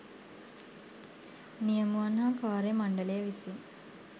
නියමුවන් හා කාර්ය මණ්ඩලය විසින්